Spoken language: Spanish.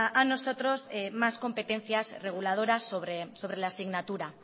a nosotros más competencias reguladoras sobre la asignatura